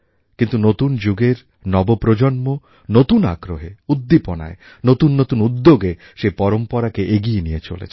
কিন্তু নতুন যুগের নব প্রজন্ম নতুন আগ্রহে উদ্দীপনায় নতুন নতুন উদ্যোগে সেই পরম্পরাকে এগিয়ে নিয়ে চলেছেন